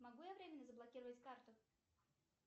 могу я временно заблокировать карту